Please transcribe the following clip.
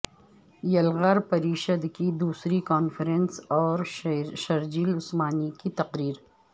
یلغار پریشد کی دوسری کانفرنس اور شرجیل عثمانی کی تقریر